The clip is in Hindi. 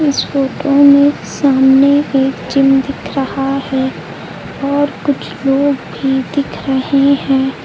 इस फोटो में सामने एक जिम दिख रहा है और कुछ लोग भी दिख रहे हैं।